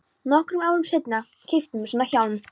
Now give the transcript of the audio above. Nokkrum árum seinna keyptum við svona hjálm.